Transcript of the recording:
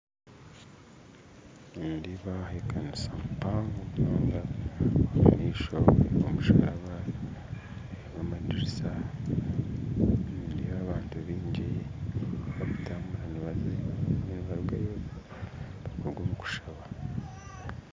Nindeeba aha ekanisa mpango munonga omu maisho omusharaba n'amadirisa nindeeba abantu baingi barikutambura nibaruga omu kushaba